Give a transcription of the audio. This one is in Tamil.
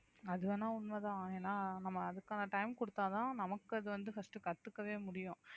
அது வேணா உண்மைதான் ஏன்னா நம்ம அதுக்கான time கொடுத்தாதான் நமக்கு அது வந்து first கத்துக்கவே முடியும்